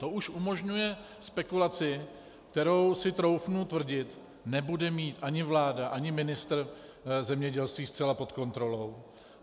To už umožňuje spekulaci, kterou si troufnu tvrdit, nebude mít ani vláda ani ministr zemědělství zcela pod kontrolou.